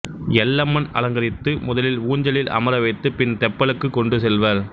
எல்லம்மன் அலங்கரித்து முதலில் ஊஞ்சலில் அமர வைத்து பின் தெப்பலுக்கு கொண்டு செல்வர்